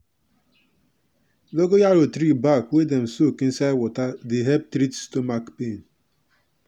dongoyaro tree back wey dem soak inside water dey help treat stomach pain.